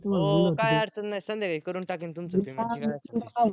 हो काय अडचण नाय संध्याकाळी करून टाकीन तुमच मी ते machine च